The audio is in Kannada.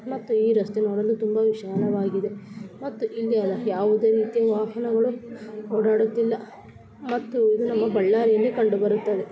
ಮತ್ತು ಈ ರಸ್ತೆ ನೋಡಲು ತುಂಬಾ ವಿಶಾಲವಾಗಿದೆ ಮತ್ತೆ ಹಿಂದೆ ಎರಡು ಯಾವುದೆ ರೀತಿ ವಾಹನೆಗಳು ಓದೋದುತ್ತಿಲ್ಲ ಮತ್ತು ನಮ್ಮ ಬಳ್ಳಾರಿ ಕಂಡು ಬರುತ್ತೆ.